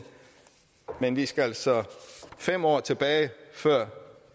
men vi skal altså fem år tilbage før